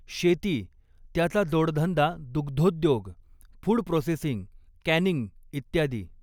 शेती, त्याचा जोडधंदा दुग्धोद्योग, फूड प्रोसेसिंग, कॅनिंग इत्यादी.